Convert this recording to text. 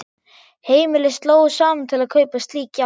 Heimili slógu saman til að kaupa slík járn.